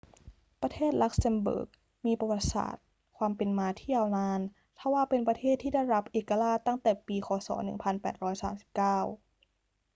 ประเทศลักเซมเบิร์กมีประวัติศาสตร์ความเป็นมาที่ยาวนาน ทว่าเป็นประเทศที่ได้รับเอกราชตั้งแต่ปี ค. ศ. 1839